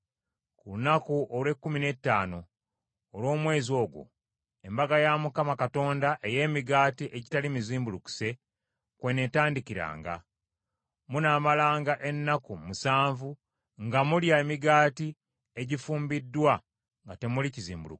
Ku lunaku olw’ekkumi n’ettaano olw’omwezi ogwo, Embaga ya Mukama Katonda ey’Emigaati Egitali Mizimbulukuse kw’eneetandikiranga; munaamalanga ennaku musanvu nga mulya emigaati egifumbiddwa nga temuli kizimbulukusa.